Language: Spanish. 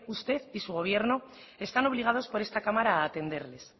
usted y su gobierno están obligados por esta cámara atenderles